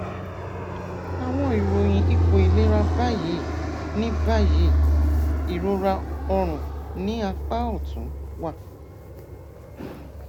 àwọn ìròyìn ipò ìlera báyìí ní báyìí ìrora ọrùn ní apá ọtún wà